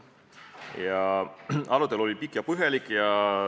a. Arutelu oli pikk ja põhjalik.